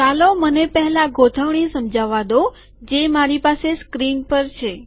ચાલો મને પહેલા ગોઠવણી સમજાવવા દો જે મારી પાસે સ્ક્રીન પર છે